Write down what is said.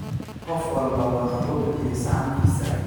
Qof walba waan oogu bixiye saxankisa